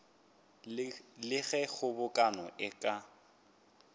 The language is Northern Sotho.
le ge kgobokano e ka